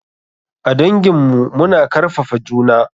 A dangin mu. Mu na karfafa juna.